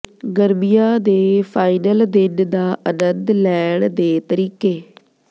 ਗਰਮੀਆਂ ਦੇ ਫਾਈਨਲ ਦਿਨ ਦਾ ਆਨੰਦ ਲੈਣ ਦੇ ਤਰੀਕੇ